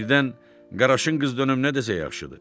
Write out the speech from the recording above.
Birdən qaraşın qız dönüb nə desə yaxşıdır?